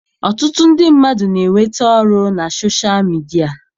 Ọtụtụ ndị mmadụ na-enweta ọrụ na soshal midia.